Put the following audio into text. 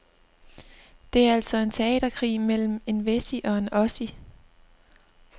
Det er altså en teaterkrig mellem en wessie og en ossie.